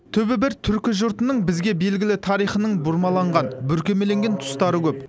түбі бір түркі жұртының бізге белгілі тарихының бұрмаланған бүркемеленген тұстары көп